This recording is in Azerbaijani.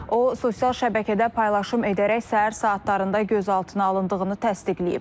O sosial şəbəkədə paylaşım edərək səhər saatlarında gözaltına alındığını təsdiqləyib.